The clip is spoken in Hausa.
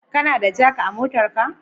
Kana da jak a motarka?